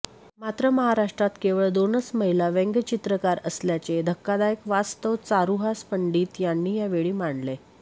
मात्र महाराष्ट्रात केवळ दोनच महिला व्यंगचित्रकार असल्याचे धक्कादायक वास्तव चारूहास पंडित यांनी या वेळी मांडले